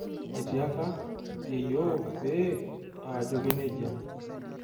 Atiaka yeyioo pee aajoki nejia.